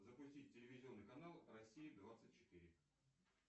запустить телевизионный канал россия двадцать четыре